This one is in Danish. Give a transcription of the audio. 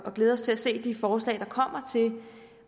glæder os til at se de forslag der kommer til